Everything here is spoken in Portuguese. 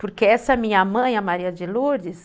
Porque essa minha mãe, a Maria de Lourdes...